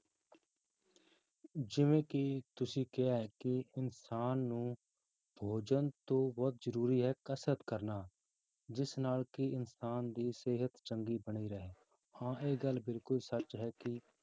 ਜਿਵੇਂ ਕਿ ਤੁਸੀਂ ਕਿਹਾ ਹੈ ਕਿ ਇਨਸਾਨ ਨੂੰ ਭੋਜਨ ਤੋਂ ਬਹੁਤ ਜ਼ਰੂਰੀ ਹੈ ਕਸ਼ਰਤ ਕਰਨਾ, ਜਿਸ ਨਾਲ ਕਿ ਇਨਸਾਨ ਦੀ ਸਿਹਤ ਚੰਗੀ ਬਣੀ ਰਹੇ, ਹਾਂ ਇਹ ਗੱਲ ਬਿਲਕੁਲ ਸੱਚ ਹੈ ਕਿ